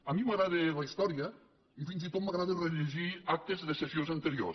a mi m’agrada la història i fins i tot m’agrada rellegir actes de sessions anteriors